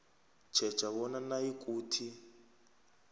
tjheja bona nayikuthi